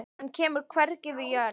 Hann kemur hvergi við jörð.